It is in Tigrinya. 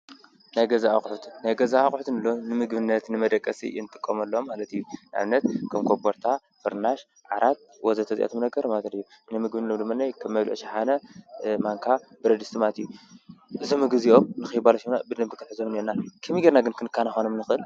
ናይ ገዛ ኣቁሑት ናይ ገዛ ኣቁሑት እንብሎም ንምግብነት ፣ንመደቀሲ እንጥቀመሎም ኣቁሑት ማለት እዩ። ንኣብነት:- ከም ኮቦርታ፣ ፍርናሽ፣ ዓራት ወዘተ እዚኣቶም ናይ ቀረባ ኣቁሑት እዮም። ንምግብነት ድማኒ ከም መብልዒ ሽሓነ፣ ማንካ፣ ብረድስቲ ማለት እዩ። እዞም ምግቢ እዚኦም ንኸይባላሸዉና ብደንቢ ክንሕዞም እንኤና። ከመይ ጌርና ግን ከንከናኸኖም ንኽእል?